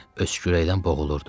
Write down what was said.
Öskürəkdən boğulurdu.